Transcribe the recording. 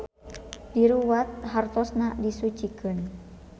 Diruwat hartosna disucikeun.